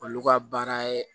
Olu ka baara ye